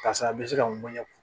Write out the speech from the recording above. Karisa a bɛ se ka nɛ